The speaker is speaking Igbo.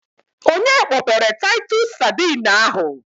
Onye kpọpere taitus sadine ahụ?